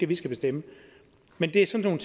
vi skal bestemme men det er sådan